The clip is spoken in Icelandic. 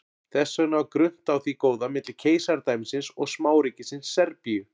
Þess vegna var grunnt á því góða milli keisaradæmisins og smáríkisins Serbíu.